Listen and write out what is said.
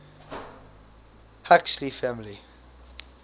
huxley family